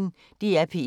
DR P1